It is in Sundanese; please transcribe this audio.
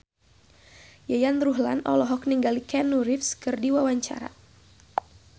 Yayan Ruhlan olohok ningali Keanu Reeves keur diwawancara